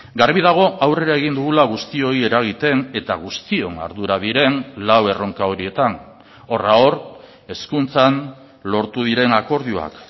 garbi dago aurrera egin dugula guztioi eragiten eta guztion ardura diren lau erronka horietan horra hor hezkuntzan lortu diren akordioak